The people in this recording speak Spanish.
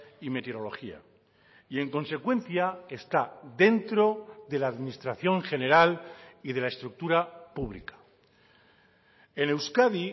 y meteorología y en consecuencia está dentro de la administración general y de la estructura pública en euskadi